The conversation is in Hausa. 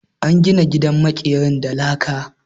An gina gidan maƙerin da laka.